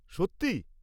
সত্যি!?